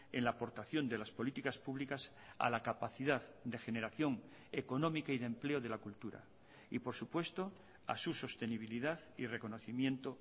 en la aportación de las políticas públicas a la capacidad de generación económica y de empleo de la cultura y por supuesto a su sostenibilidad y reconocimiento